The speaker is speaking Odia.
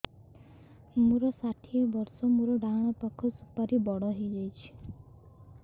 ମୋର ଷାଠିଏ ବର୍ଷ ମୋର ଡାହାଣ ପାଖ ସୁପାରୀ ବଡ ହୈ ଯାଇଛ